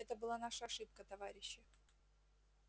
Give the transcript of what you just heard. это была наша ошибка товарищи